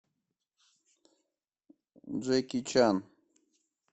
джеки чан